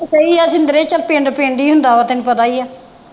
ਸਹੀ ਹੈ ਪਿੰਡ ਪਿੰਡ ਹੀ ਹੁੰਦਾ ਹੈ ਤੈਨੂੰ ਪਤਾ ਹੀ ਹੈ।